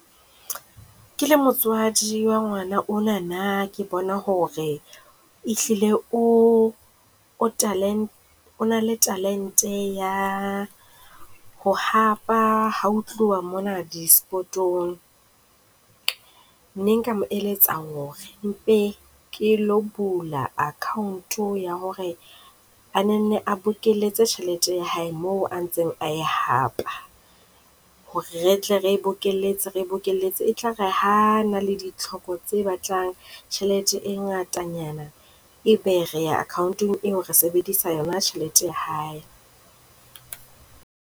Ke le motswadi wa ngwana ona nna ke bona ho re e hlile o, o o na le talent-e ya ho hapa ha ho tluwa mona di sport-ong. Nne nka mo eletsa ho re mpe ke lo bula account-o ya ho re a nenne a bokeletse tjhelete ya hae moo a ntseng a e hapa. Ho re re tle re e bokelletse, re e bokelletse etlare ha a na le ditlhoko tse batlang tjhelete e ngatanyana e be re ya account-ong eo re sebedisa yona tjhelete ya hae.